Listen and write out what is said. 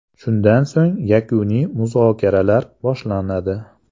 Shundan so‘ng yakuniy muzokaralar boshlanadi.